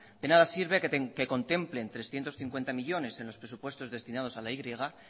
de nada sirve que contemplen trescientos cincuenta millónes en los presupuestos destinados a la y